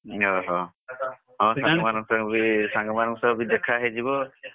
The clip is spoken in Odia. ଅହ, ହଁ ସାଙ୍ଗମାନଙ୍କ ବି ସାଙ୍ଗମାନଙ୍କ ସହ ବି ଦେଖ ହେଇଯିବ।